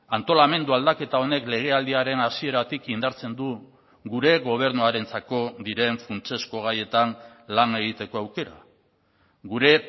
antolamendu aldaketa honek legealdiaren hasieratik indartzen du gure gobernuarentzako diren funtsezko gaietan lan egiteko aukera gure